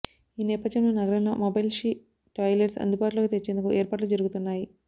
ఈ నేపథ్యంలో నగరంలో మొబైల్ షీ టాయిలెట్స్ అందుబాటులోకి తెచ్చేందుకు ఏర్పాట్లు జరుగుతున్నాయి